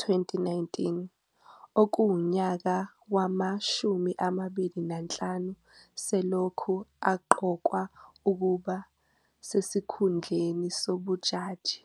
2019, okuwunyaka wama-25 selokhu aqokwa ukuba sesikhundleni sobjaji.